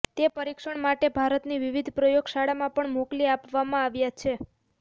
તે પરીક્ષણ માટે ભારતની વિવિધ પ્રયોગશાળામાં પણ મોકલી આપવામાં આવ્યા છે